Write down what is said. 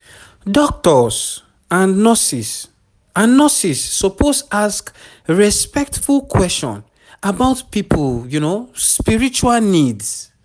doctors and nurses and nurses suppose ask respectful question about people spiritual needs